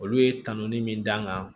Olu ye tanɔni min d'an kan